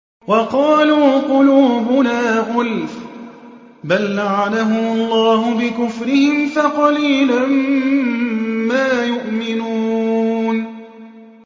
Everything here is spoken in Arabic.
وَقَالُوا قُلُوبُنَا غُلْفٌ ۚ بَل لَّعَنَهُمُ اللَّهُ بِكُفْرِهِمْ فَقَلِيلًا مَّا يُؤْمِنُونَ